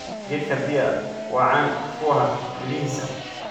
Geedka pear waa caan ku ah midhihiisa.